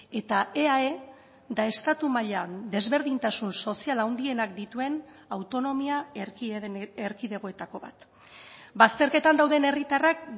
eta eae da estatu mailan desberdintasun sozial handienak dituen autonomia erkidegoetako bat bazterketan dauden herritarrak